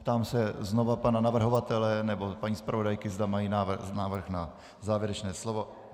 Ptám se znovu pana navrhovatele nebo paní zpravodajky, zda mají návrh na závěrečné slovo.